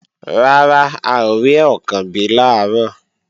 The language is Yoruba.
Rárá, a ò rí Ọ̀kànbí làárọ̀